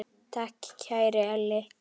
Takk, kæri Elli.